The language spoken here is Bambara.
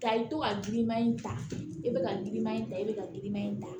Ta i bɛ to ka girinman in ta i bɛ ka giriman in ta i bɛ ka girinman in ta